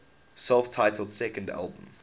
self titled second album